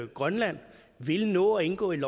grønland vil nå at indgå i